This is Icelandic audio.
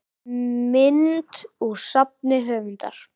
Mynd úr safni höfundar.